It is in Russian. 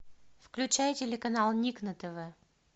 включай телеканал ник на тв